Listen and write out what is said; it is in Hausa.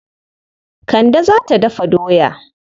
Kande za ta dafa doya.